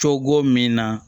Cogo min na